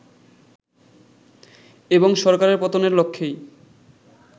এবং সরকারের পতনের লক্ষ্যেই